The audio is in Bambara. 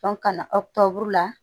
kana o buru la